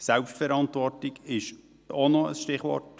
Die Eigenverantwortung ist auch ein Stichwort.